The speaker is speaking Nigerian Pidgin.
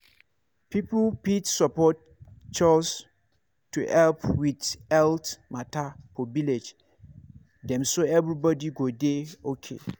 people fit support chws to help with health matter for village dem so everybody go dey okay.